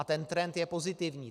A ten trend je pozitivní.